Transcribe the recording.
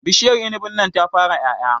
Bishiar inibin nan ta fara ƴaƴa